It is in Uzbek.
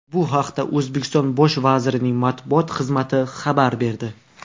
Bu haqda O‘zbekiston bosh vazirining matbuot xizmati xabar berdi .